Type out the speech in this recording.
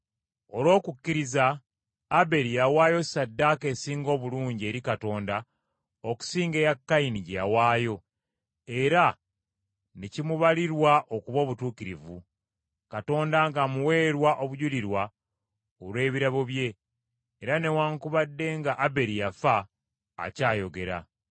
Olw’okukkiriza Aberi yawaayo Ssaddaaka esinga obulungi eri Katonda okusinga eya Kayini gye yawaayo, era ne kimubalirwa okuba obutuukirivu, Katonda ng’amuweerwa obujulirwa olw’ebirabo bye, era newaakubadde nga Aberi yafa, akyayogera.